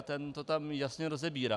A ten to tam jasně rozebírá...